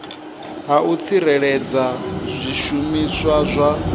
ha u tsireledza zwishumiswa zwa